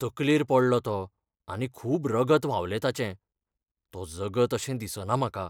तकलेर पडलो तो आनी खूब रगत व्हांवलें ताचें. तो जगत अशें दिसना म्हाका.